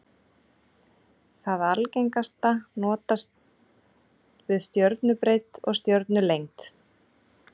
Það algengasta notast við stjörnubreidd og stjörnulengd.